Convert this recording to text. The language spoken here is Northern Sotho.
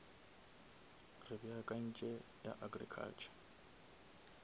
re beakantše ya agriculture